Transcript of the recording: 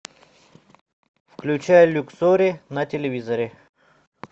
включай люксори на телевизоре